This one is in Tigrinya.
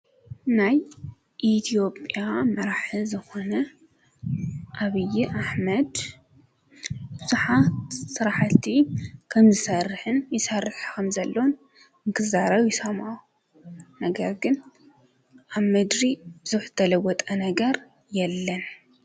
ናይ ኢትዮጵያ መራሒ ዝኾነ ኣብይ ኣሕመድ ብዙሓት ስራሕቲ ከምዝሰርሕን ይሰርሕ ከም ዘሎን ክዛረብ ይሰምዖ ነገር ግን ኣብ ምድሪ ብዙሕ ተለወጠ ነገር የለን፡፡